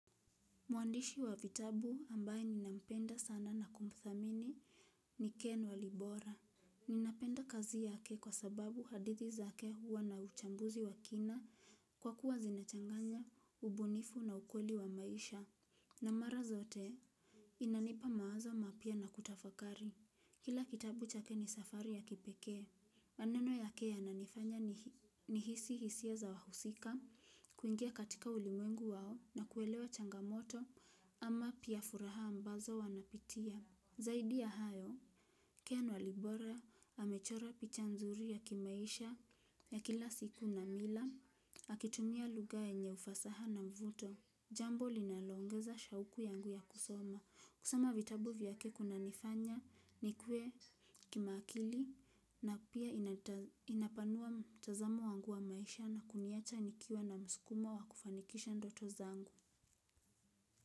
Mwandishi wa vitabu ambaye ninampenda sana na kumthamini ni Ken walibora. Ninapenda kazi yake kwa sababu hadithi zake huwa na uchambuzi wa kina kwa kuwa zinachanganya, ubunifu na ukweli wa maisha. Na mara zote inanipa mawazo mapya na kutafakari. Kila kitabu chake ni safari ya kipeke. Maneno yake yananifanya nihisi hisia za wahusika kuingia katika ulimwengu wao na kuelewa changamoto ama pia furaha ambazo wanapitia. Zaidi ya hayo, Ken walibora amechora picha nzuri ya kimaisha ya kila siku na mila, akitumia lugha yenye ufasaha na mvuto. Jambo linalongeza shauku yangu ya kusoma. Kusoma vitabu vyake kunanifanya nikue kimakili na pia inapanua mtazamo wangu wa maisha na kuniwacha nikiwa na msukuma wa kufanikisha ndoto zangu.